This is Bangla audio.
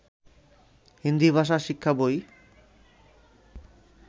হিন্দি ভাষা শিক্ষা বই